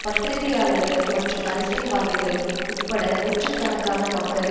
பத்திரிகையாளர்கள் மற்றும் அரசியல்வாதிகள் உட்பட நூற்று கணக்கான மக்கள்